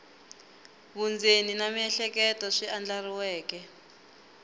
vundzeni na miehleketo swi andlariweke